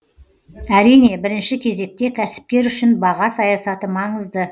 әрине бірінші кезекте кәсіпкер үшін баға саясаты маңызды